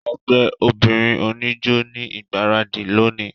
Ẹgbẹ obinrin onijó ni igbaradi loni.